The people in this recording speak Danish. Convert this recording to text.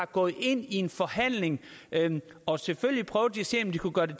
gået ind i en forhandling og selvfølgelig prøvet at se om de kunne gøre det